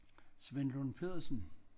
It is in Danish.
Svend Lund Pedersen